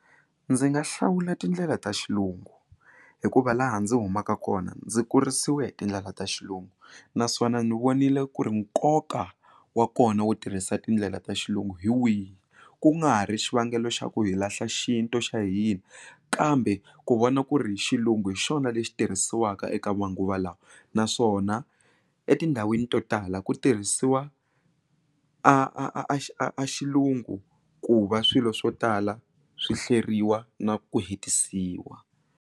Ndzi nga hlawula tindlela ta xilungu hikuva laha ndzi humaka kona ndzi kurisiwe hi tindlela ta xilungu naswona ni vonile ku ri nkoka wa kona wu tirhisa tindlela ta xilungu hi wihi ku nga ha ri xivangelo xa ku hi lahla xintu xa hina kambe ku vona ku ri hi xilungu hi xona lexi tirhisiwaka eka manguva lawa naswona etindhawini to tala ku tirhisiwa a a a a xilungu ku va swilo swo tala swi hleriwa na ku hetisisiwa.